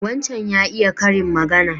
Wancan ya iya karin magana.